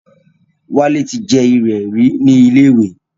Wálé ti jẹ ìrẹ̀ rí ní ilé ìwé